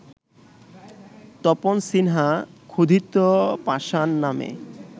তপন সিনহা ‘ক্ষুধিত পাষাণ’ নামে